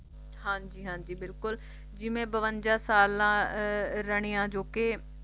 ਹਾਂਜੀ ਹਾਂਜੀ ਬਿਲਕੁਲ ਜਿਵੇਂ ਬਵੰਜਾ ਸਾਲਾਂ ਅਹ ਰਣੀਆ ਜੋ ਕਿ